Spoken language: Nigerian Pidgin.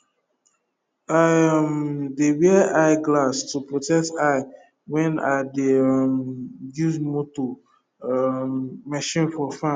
i um dey wear eye glass to protect eye when i dey um use motor um machine for farm